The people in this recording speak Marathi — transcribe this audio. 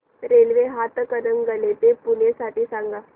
रेल्वे हातकणंगले ते पुणे साठी सांगा